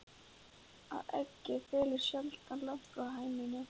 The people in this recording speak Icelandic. Að eggið fellur sjaldan langt frá hænunni!